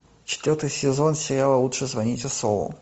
четвертый сезон сериала лучше звоните солу